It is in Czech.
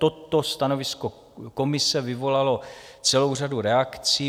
Toto stanovisko komise vyvolalo celou řadu reakcí.